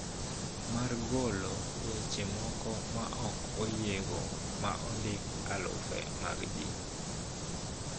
Mar golo weche moko ma ok oyiego ma ondiko alufe mag ji